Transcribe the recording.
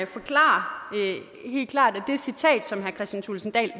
forklare helt klart at det citat som herre kristian thulesen dahl